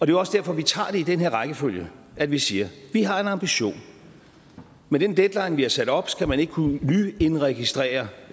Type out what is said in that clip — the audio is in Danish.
jo også derfor at vi tager det i den her rækkefølge at vi siger at vi har en ambition med den deadline vi har sat op skal man ikke kunne nyindregistrere